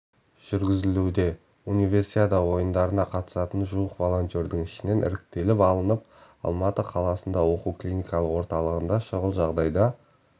жүргізілуде универсиада ойындарына қатысатын жуық волонтердің ішінен іріктеліп алынып алматы қаласында оқу-клиникалық орталығында шұғыл жағдайда